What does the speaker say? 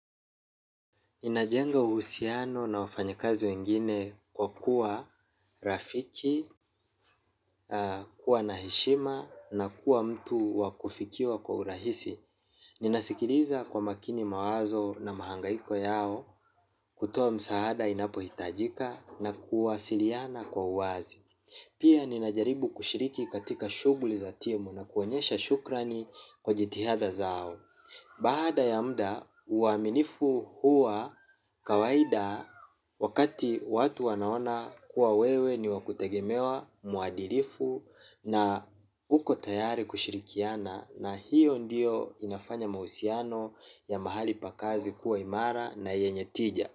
Ninajenga uhusiano na wafanyikazi wengine kwa kuwa rafiki, kuwa na heshima na kuwa mtu wa kufikiwa kwa urahisi. Ninasikiliza kwa makini mawazo na mahangaiko yao, kutoa msaada inapohitajika na kuwasiliana kwa uwazi pia ninajaribu kushiriki katika shughuli za timu na kuonyesha shukrani kwa jitihadha zao. Baada ya muda uaminifu huwa kawaida wakati watu wanaona kuwa wewe ni wa kutegemewa mwadilifu na uko tayari kushirikiana na hiyo ndiyo inafanya mahusiano ya mahali pa kazi kuwa imara na yenye tija.